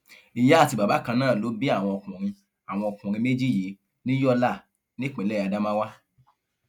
ìyá àti bàbá kan náà ló bí àwọn ọkùnrin àwọn ọkùnrin méjì yìí ní yọlá nípìnlẹ ádámáwà